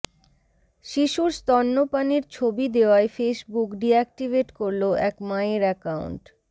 শিশুর স্তন্যপানের ছবি দেওয়ায় ফেসবুক ডিঅ্যাকটিভেট করল এক মায়ের অ্যাকাউন্ট